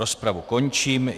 Rozpravu končím.